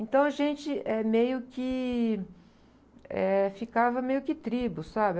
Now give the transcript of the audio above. Então, a gente, eh, meio que, eh... Ficava meio que tribo, sabe?